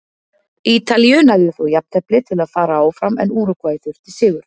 Ítalíu nægði þó jafntefli til að fara áfram en Úrúgvæ þurfti sigur.